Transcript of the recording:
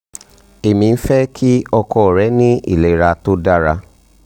emi n fe ki oko re ni ilera to dara